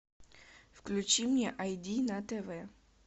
включи мне ай ди на тв